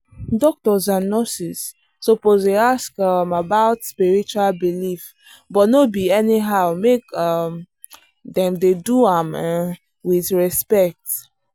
doctors and nurses suppose dey ask um about spiritual belief but no be anyhow make um dem do am um with respect.